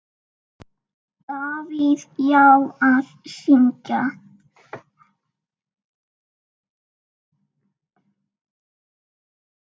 Davíð: Já, að syngja.